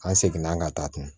An seginna an ka taa kun